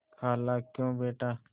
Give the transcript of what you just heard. खालाक्यों बेटा